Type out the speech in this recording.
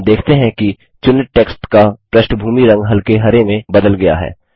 हम देखते हैं कि चुनित टेक्स्ट का पृष्ठभूमि रंग हल्के हरे में बदल गया है